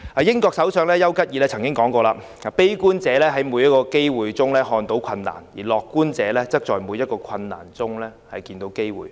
英國首相邱吉爾曾說："悲觀者在每個機會中看到困難，而樂觀者則在每個困難中看到機會。